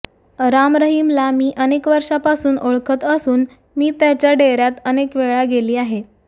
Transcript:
राम रहिमला मी अनेक वर्षांपासून ओळखत असून मी त्याच्या डेऱ्यात अनेक वेळा गेली आहे